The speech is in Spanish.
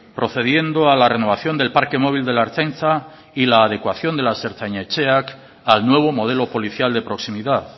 procediendo a la renovación del parque móvil de la ertzaintza y la adecuación de las ertzainetxeak al nuevo modelo policial de proximidad